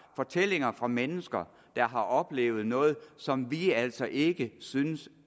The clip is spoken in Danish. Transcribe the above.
fortællinger fra mennesker der har oplevet noget som vi altså ikke synes